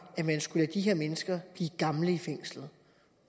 at man skulle lade de her mennesker blive gamle i fængslet